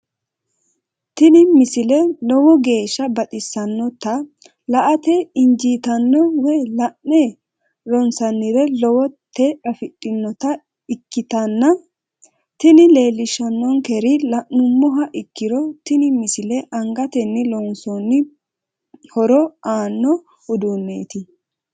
tini misile lowo geeshsha baxissannote la"ate injiitanno woy la'ne ronsannire lowote afidhinota ikkitanna tini leellishshannonkeri la'nummoha ikkiro tini misile angatenni loonsoonni horo aanno uduunneeti.